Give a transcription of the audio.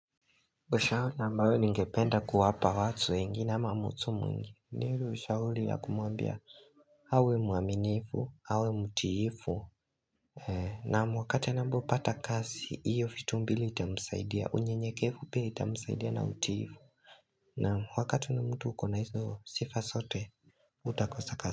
Ushauri na ambayo ningependa kuwapa watu wengine ama mutu mwingi ni ile Ushauri ya kumuambia awe muaminifu, awe mutiifu Naam wakati nambu pata kasi, iyo fitumbili itamsaidia, unye nyekefu pia itamusaidia na utiifu Nam wakati mtu ukona hizo sifa sote, hutakosa kasi.